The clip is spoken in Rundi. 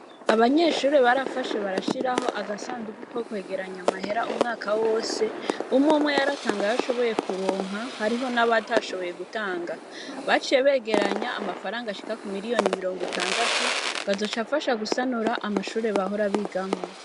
Abanyeshure barafashe barashiraho agasandugu ko kwegeranya amahera umwaka wose umweumwe yaratanga yo ashoboye kuronka hariho n'abatashoboye gutanga baciye begeranya amafaranga ashika ku miliyoni mirongo itandatu ngo azocafasha gusanura amashure bahora bigamwo.